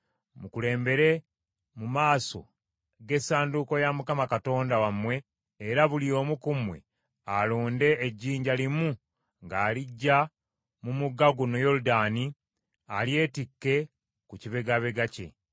“Mukulembere mu maaso g’Essanduuko ya Mukama Katonda wammwe era buli omu ku mmwe alonde ejjinja limu ng’aliggya mu mugga guno Yoludaani alyetikke ku kibegabega kye.